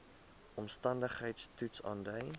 omstandigheids toets aandui